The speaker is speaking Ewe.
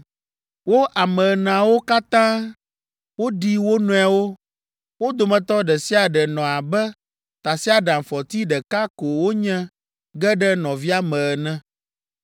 Wo ame eneawo katã woɖi wo nɔewo; wo dometɔ ɖe sia ɖe nɔ abe tasiaɖamfɔti ɖeka ko wonye ge ɖe nɔvia me ene.